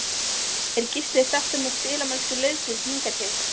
Er Gísli sáttur með spilamennsku liðsins hingað til?